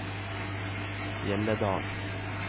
Hjelledalen